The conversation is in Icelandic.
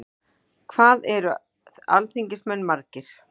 hvað eru alþingismenn margir